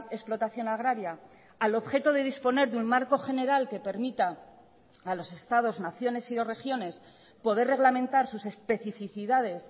explotación agraria al objeto de disponer de un marco general que permita a los estados naciones y o regiones poder reglamentar sus especificidades